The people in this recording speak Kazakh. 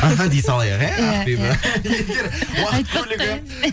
іхі дей салайық иә ақбибі егер уақыт көлігі